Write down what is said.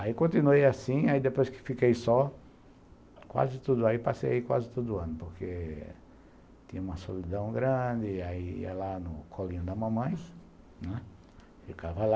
Aí continuei assim, depois que fiquei só, passei quase todo ano, porque tinha uma solidão grande, ia lá no colinho da mamãe, né, ficava lá.